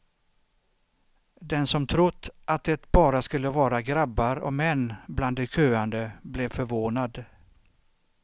Den som trott att det bara skulle vara grabbar och män bland de köande blev förvånad.